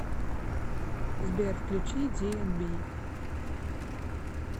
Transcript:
сбер включи диэнби